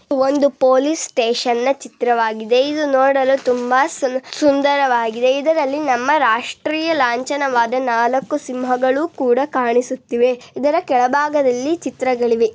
ಒಂದು police station ನ ಚಿತ್ರವಾಗಿದೆ. ಇದು ನೋಡಲು ತುಂಬಾ ಸುಂದರವಾಗಿದೆ .ಇದರಲ್ಲಿ ನಮ್ಮ ರಾಷ್ಟ್ರ ಲಾಂಛನವಾದ ನಾಲ್ಕು ತಲೆಯ ಸಿಂಹ ಬೂದಿ ಕೂಡ ಕಾಣಿಸುತ್ತಿದೆ. ಇದರ ಕೆಳಭಾಗದಲ್ಲಿ ಚಿತ್ರಗಳಿವೆ.